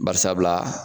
Bari sabula